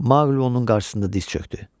Mauqli onun qarşısında diz çökdü.